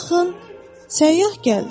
Baxın, səyyah gəldi.